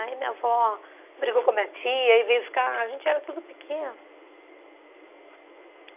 Aí minha avó brigou com a minha tia e veio ficar... A gente era tudo pequeno.